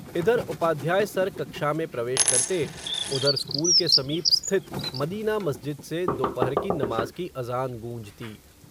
इधर उपाध्याय सर कक्षा में प्रवेश करते, उधर स्कूल के समीप स्थित मदीना मस्जिद से, दोपहर की नमाज़ की अज़ान गूंजती